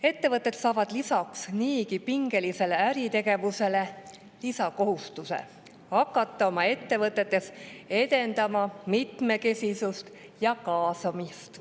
Ettevõtted, kellel äritegevus on niigi pingeline, saavad lisaks kohustuse hakata edendama mitmekesisust ja kaasamist.